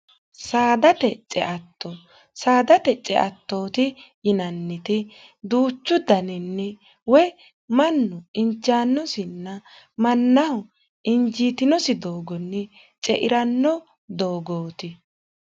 dteceatto saadate ceattooti yinanniti duuchu daninni woy mannu injaannosinna mannaho injiitinosi doogonni cei'ranno doogooti